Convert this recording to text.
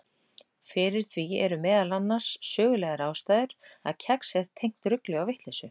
Fyrir því eru meðal annars sögulegar ástæður að kex er tengt rugli og vitleysu.